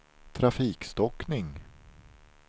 trafikstockning